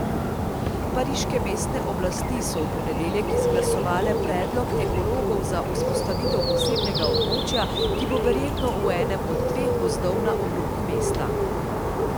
Pariške mestne oblasti so v ponedeljek izglasovale predlog ekologov za vzpostavitev posebnega območja, ki bo verjetno v enem od dveh gozdov na obrobju mesta.